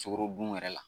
Sukaro dun yɛrɛ la